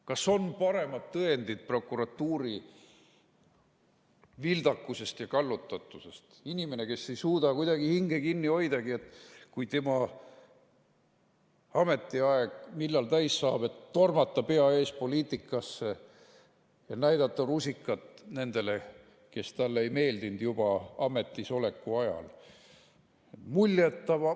Kas on paremat tõendit prokuratuuri vildakusest ja kallutatusest kui inimene, kes ei suuda kuidagi hinge kinni hoidagi, et kui tema ametiaeg täis saab, siis tormata pea ees poliitikasse ja näidata rusikat nendele, kes talle ei meeldinud juba tema ametisoleku ajal?